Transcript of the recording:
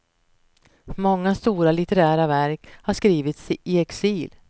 Många stora litterära verk har skrivits i exil.